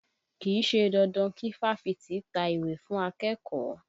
Kì í ṣe dandan kí fáfitì ta ìwé fún akẹ́kọ̀ọ́